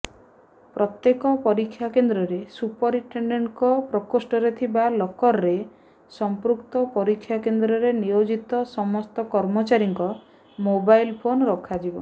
ପ୍ରତ୍ୟେକ ପରୀକ୍ଷାକେନ୍ଦ୍ରରେ ସୁପରିଟେଣ୍ଡେଣ୍ଟଙ୍କ ପ୍ରକୋଷ୍ଠରେ ଥିବା ଲକରରେ ସମ୍ପୃକ୍ତ ପରୀକ୍ଷାକେନ୍ଦ୍ରରେ ନିୟୋଜିତ ସମସ୍ତ କର୍ମଚାରୀଙ୍କ ମୋବାଇଲ ଫୋନ୍ ରଖାଯିବ